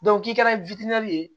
k'i kɛra ye